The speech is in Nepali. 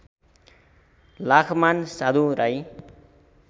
लाखमान साधु राई